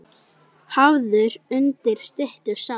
Hafður undir styttu sá.